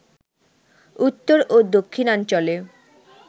উত্তর ও দক্ষিণাঞ্চলে